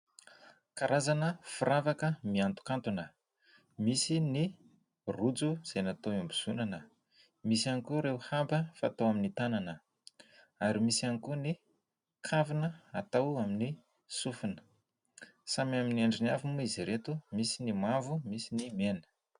Karazana firavaka mihanton-kantona misy ny rojo izay natao hiambozonana, misy ihany koa ireo haba fatao amin'ny tanana, ary misy ihany koa ny kavina atao amin'ny sofina. Samy amin'ny andriny avy moa izy ireto, misy ny mavo, misy ny mena.